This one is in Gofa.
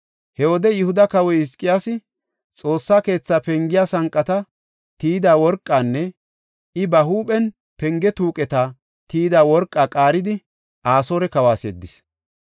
He wode Yihuda kawoy Hizqiyaasi, Xoossa keetha pengiya sanqata tiyida worqanne I ba huuphen penge tuuqeta tiyida worqaa qaaridi, Asoore kawas yeddis.